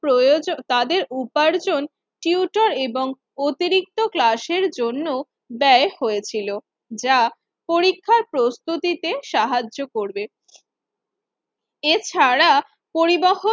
প্রয়োজ তাদের উপার্জন টিউটর এবং অতিরিক্ত ক্লাসের জন্য ব্যায় হয়েছিল, যা পরীক্ষার প্রস্তুতিতে সাহায্য করবে। এছাড়া পরিবহন